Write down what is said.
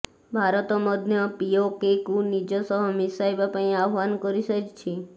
ଭାରତ ମଧ୍ୟ ପିଓକେକୁ ନିଜ ସହ ମିଶାଇବା ପାଇଁ ଆହ୍ୱାନ କରିସାରିଛି